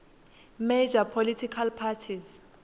major political parties